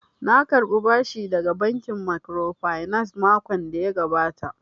Na karɓa bashi daga bankin microfinance makon da ya gabata